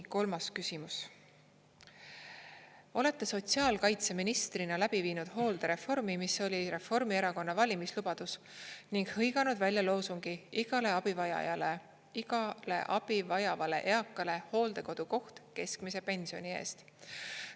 Kolmas küsimus: "Olete sotsiaalkaitseministrina läbi viinud hooldereformi, mis oli Reformierakonna valimislubadus, ning hõiganud loosungi "igale abivajavale eakale hooldekodukoht keskmise pensioni eest".